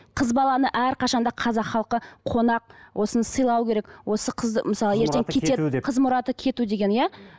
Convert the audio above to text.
қыз баланы әрқашан да қазақ халқы қонақ осыны сыйлау керек осы қызды мысалы ертең қыз мұраты кету деген иә